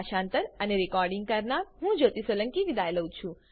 IIT Bombay તરફથી હું જ્યોતી સોલંકી વિદાય લઉં છું